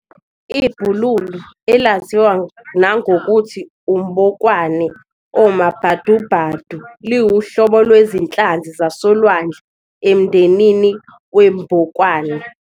IBhululu, elaziwa nangokuthi umbokwane omabhadu-bhadu, liwuhlobo lwezinhlanzi zasolwandle emndenini wombokwane.